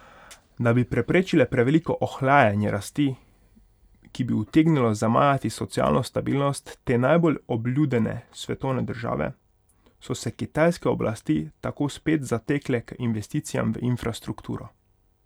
Da bi preprečile preveliko ohlajanje rasti, ki bi utegnilo zamajati socialno stabilnost te najbolj obljudene svetovne države, so se kitajske oblasti tako spet zatekle k investicijam v infrastrukturo.